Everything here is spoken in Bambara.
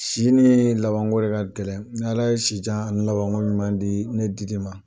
Si ni labanko de ka gɛlɛ n'Ala ye si jan ani labanko ɲuman di ne Didi ma.